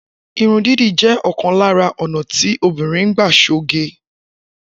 Irun dídì jẹ́ ọ̀kan lára ọ́ná ti obìnrin ń gbà ṣoge.